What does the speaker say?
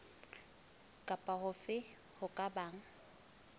kapa hofe ho ka bang